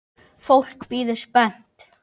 Fólk bíður spennt.